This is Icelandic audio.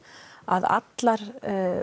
að allar